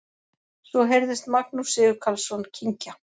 Svo heyrðist Magnús Sigurkarlsson kyngja.